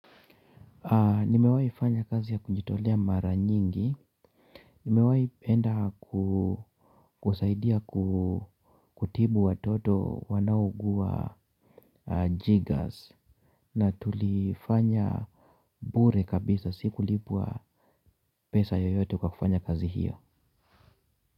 Nimewahi fanya kazi ya kujitolea mara nyingi, nimewahi enda kusaidia kutibu watoto wanaougua jiggers. Na tulifanya bure kabisa, siku lipwa pesa yoyote kwa kufanya kazi hiyo.